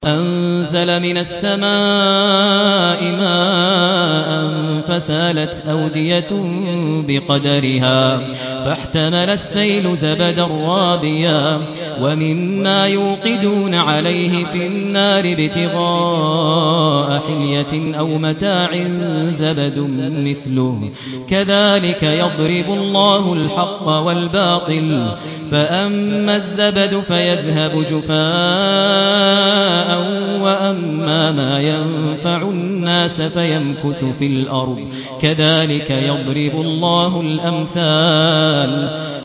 أَنزَلَ مِنَ السَّمَاءِ مَاءً فَسَالَتْ أَوْدِيَةٌ بِقَدَرِهَا فَاحْتَمَلَ السَّيْلُ زَبَدًا رَّابِيًا ۚ وَمِمَّا يُوقِدُونَ عَلَيْهِ فِي النَّارِ ابْتِغَاءَ حِلْيَةٍ أَوْ مَتَاعٍ زَبَدٌ مِّثْلُهُ ۚ كَذَٰلِكَ يَضْرِبُ اللَّهُ الْحَقَّ وَالْبَاطِلَ ۚ فَأَمَّا الزَّبَدُ فَيَذْهَبُ جُفَاءً ۖ وَأَمَّا مَا يَنفَعُ النَّاسَ فَيَمْكُثُ فِي الْأَرْضِ ۚ كَذَٰلِكَ يَضْرِبُ اللَّهُ الْأَمْثَالَ